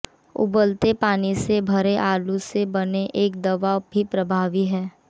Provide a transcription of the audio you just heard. उबलते पानी से भरे आलू से बने एक दवा भी प्रभावी है